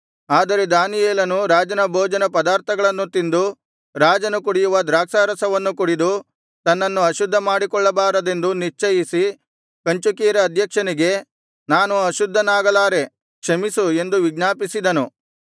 ಆದರೆ ದಾನಿಯೇಲನು ರಾಜನ ಭೋಜನ ಪದಾರ್ಥಗಳನ್ನು ತಿಂದು ರಾಜನು ಕುಡಿಯುವ ದ್ರಾಕ್ಷಾರಸವನ್ನು ಕುಡಿದು ತನ್ನನ್ನು ಅಶುದ್ಧ ಮಾಡಿಕೊಳ್ಳಬಾರದೆಂದು ನಿಶ್ಚಯಿಸಿ ಕಂಚುಕಿಯರ ಅಧ್ಯಕ್ಷನಿಗೆ ನಾನು ಅಶುದ್ಧನಾಗಲಾರೆ ಕ್ಷಮಿಸು ಎಂದು ವಿಜ್ಞಾಪಿಸಿದನು